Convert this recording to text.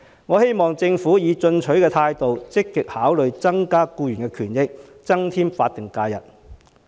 我希望政府以進取的態度積極考慮增加法定假日，以改善僱員的權益。